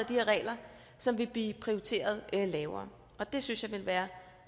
her regler som vil blive prioriteret lavere og det synes jeg vil være